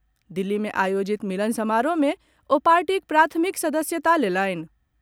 दिल्ली मे आयोजित मिलन समारोह मे ओ पार्टीक प्राथमिक सदस्यता लेलनि।